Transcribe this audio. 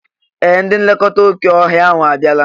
Ee! Ndị nlekọta oké ọhịa ahụ abịala.